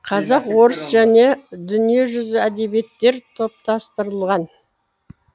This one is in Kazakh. қазақ орыс және дүниежүзі әдебиеттер топтастырылған